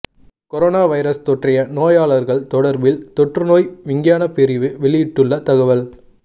corona virus தொற்றிய நோயாளர்கள் தொடர்பில் தொற்று நோய் விஞ்ஞானப் பிரிவு வெளியிட்டுள்ள தகவல்